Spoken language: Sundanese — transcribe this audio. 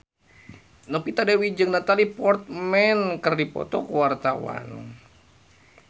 Novita Dewi jeung Natalie Portman keur dipoto ku wartawan